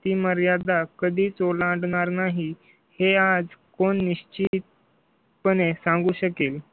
ती मर्यादा कधीच ओलांडणार नाही हे आज कोण निश्चिती? पुणे सांगू शकेल